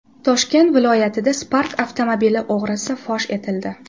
Toshkent viloyatida Spark avtomobili o‘g‘risi fosh etildi.